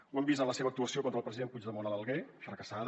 ho hem vist en la seva actuació contra el president puigdemont a l’alguer fracassada